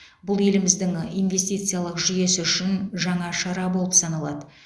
бұл еліміздің инвестициялық жүйесі үшін жаңа шара болып саналады